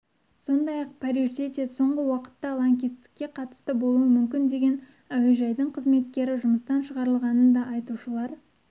сондай-ақ парижде де соңғы уақытта лаңкестікке қатысы болуы мүмкін деген әуежайдың қызметкері жұмыстан шығарылғанын да айтушылар